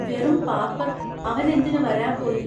വെറും പാപ്പർ അവനെന്തിനു വരാപോയി?